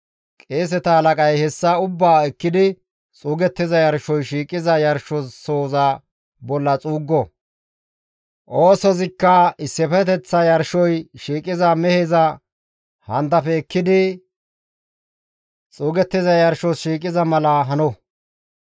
Qeeseta halaqay hessa ubbaa ekkidi xuugettiza yarshoy shiiqiza yarshosoza bolla xuuggo; oosozikka issifeteththas yarshoy shiiqiza meheza handafe ekkidi xuugettiza yarshos shiiqiza mala hano.